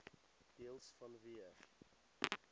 deels vanweë